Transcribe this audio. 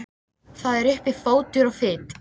Það er uppi fótur og fit.